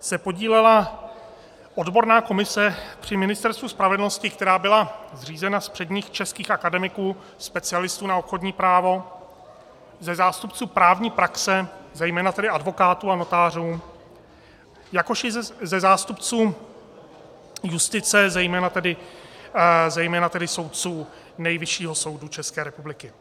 se podílela odborná komise při Ministerstvu spravedlnosti, která byla zřízena z předních českých akademiků, specialistů na obchodní právo, ze zástupců právní praxe, zejména tedy advokátů a notářů, jakož i ze zástupců justice, zejména tedy soudců Nejvyššího soudu České republiky.